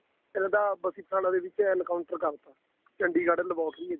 ਇਹਨਾ ਦਾ ਬਸੀ ਪਠਾਣਾ encounter ਕਰਤਾ Chandigarh laboratory